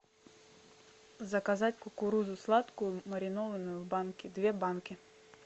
заказать кукурузу сладкую маринованную в банке две банки